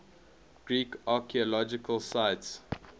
greek archaeological sites